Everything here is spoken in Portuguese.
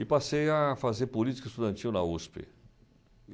E passei a fazer política estudantil na USP.